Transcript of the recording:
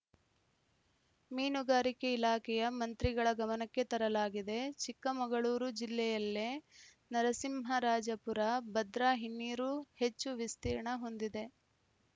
ಮೀನುಗಾರಿಕೆ ಇಲಾಖೆಯ ಮಂತ್ರಿಗಳ ಗಮನಕ್ಕೆ ತರಲಾಗಿದೆಚಿಕ್ಕಮಗಳೂರು ಜಿಲ್ಲೆಯಲ್ಲೇ ನರಸಿಂಹರಾಜಪುರ ಭದ್ರಾ ಹಿನ್ನೀರು ಹೆಚ್ಚು ವಿಸ್ತೀರ್ಣ ಹೊಂದಿದೆ